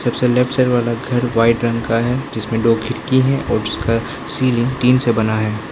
सबसे left side वाला घर वाइट रंग का है जिसमें दो खिड़की है और उसका सीलिंग टीन से बना है।